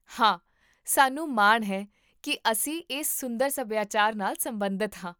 ਹਾਂ, ਸਾਨੂੰ ਮਾਣ ਹੈ ਕੀ ਅਸੀਂ ਇਸ ਸੁੰਦਰ ਸਭਿਆਚਾਰ ਨਾਲ ਸਬੰਧਤ ਹਾਂ